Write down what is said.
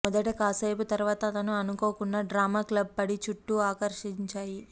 మొదట కాసేపు తరువాత అతను అనుకోకుండా డ్రామా క్లబ్ పడి చుట్టూ ఆకర్షించాయి